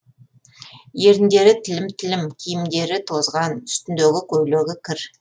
еріндері тілім тілім киімдері тозған үстіндегі көйлегі кір